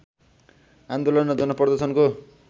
आन्दोलन र जनप्रदर्शनको